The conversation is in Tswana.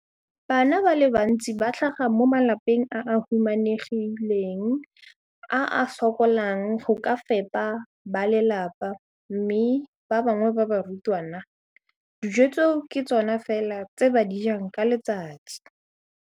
Bana ba le bantsi ba tlhaga mo malapeng a a humanegileng a a sokolang go ka fepa ba lelapa mme ba bangwe ba barutwana, dijo tseo ke tsona fela tse ba di jang ka letsatsi.